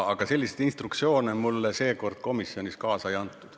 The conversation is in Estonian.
Aga selliseid instruktsioone mulle seekord komisjonist kaasa ei antud.